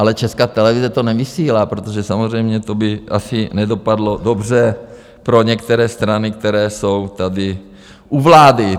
Ale Česká televize to nevysílá, protože samozřejmě to by asi nedopadlo dobře pro některé strany, které jsou tady u vlády.